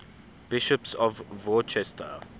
bishops of worcester